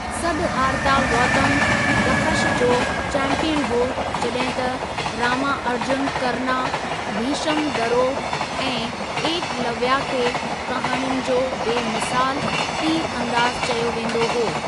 सदहारता गौतम दख़श जो चैंपीयन हो जॾहिं त रामा अर्जुन करना भिशम दरों ऐं एकलवया खे कहाणियुनि जो बे मिसालु तीर अंदाज़ु चयो वेंदो हो।